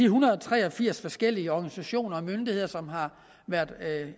hundrede og tre og firs forskellige organisationer og myndigheder som har været